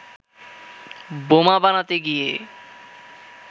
বোমা বানাতে গিয়ে